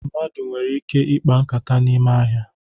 Mmadụ nwere ike ikpa nkata n'ime ahịa